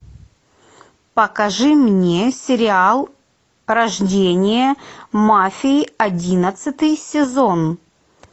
покажи мне сериал рождение мафии одиннадцатый сезон